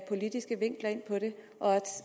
politiske vinkler ind på det og